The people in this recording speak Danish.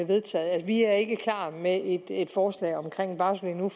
vedtaget vi er ikke klar med et et forslag om en barselorlov